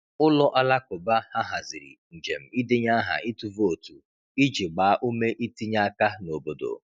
Ụlọ alakụba ha haziri njem ịdenye aha ịtụ vootu iji gbaa ume itinye aka n’obodo.